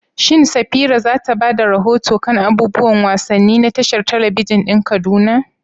Shin Safira za ta ba da rahoto kan abubuwan wasanni na tashar talabijin ɗin Kaduna?